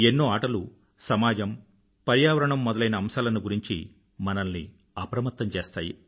ఎన్నో ఆటలు సమాజం పర్యావరణ మొదలైన అంశాలను గురించి మనల్ని అప్రమత్తం చేస్తాయి